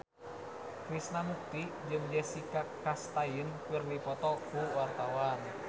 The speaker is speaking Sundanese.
Krishna Mukti jeung Jessica Chastain keur dipoto ku wartawan